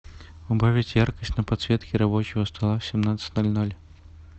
убавить яркость на подсветке рабочего стола в семнадцать ноль ноль